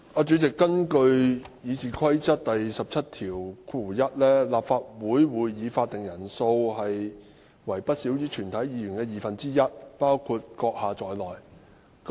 主席，根據《議事規則》第171條，立法會會議法定人數為不少於全體議員的二分之一，包括你在內。